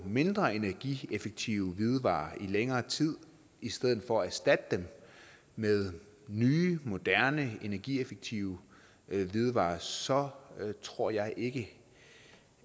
mindre energieffektive hvidevarer i længere tid i stedet for at erstatte dem med nye moderne energieffektive hvidevarer så tror jeg ikke